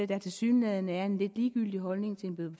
der tilsyneladende er en lidt ligegyldig holdning til en bøde